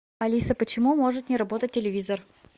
алиса почему может не работать телевизор